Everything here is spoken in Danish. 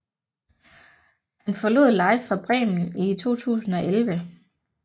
Han forlod Live Fra Bremen i 2011